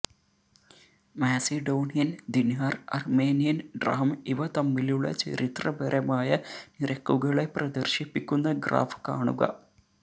Macedonian dinar Armenian dram ഇവ തമ്മിലുള്ള ചരിത്രപരമായ നിരക്കുകളെ പ്രദർശിപ്പിക്കുന്ന ഗ്രാഫ് കാണുക